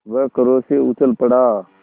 वह क्रोध से उछल पड़ा